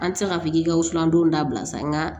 An ti se ka fɔ k'i ka wusulan don dabila sa nga